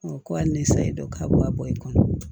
ko hali ne sayi dɔ ka bɔ a bɔ i kɔnɔ